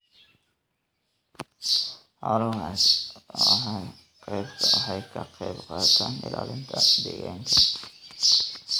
Xooluhu waxay ka qayb qaataan ilaalinta deegaanka.